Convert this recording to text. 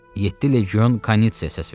Yeddi legion Kanitsə səs verdi.